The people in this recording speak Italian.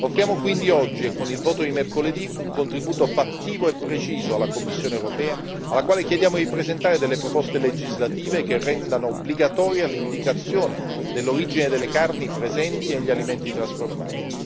Offriamo quindi oggi e con il voto di mercoledì un contributo fattivo e preciso alla Commissione europea, alla quale chiediamo di presentare delle proposte legislative che rendano obbligatoria l'indicazione dell'origine delle carni presenti negli alimenti trasformati.